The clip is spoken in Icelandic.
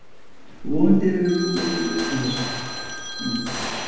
Við erum vonandi búnir að finna lausn á þessu núna.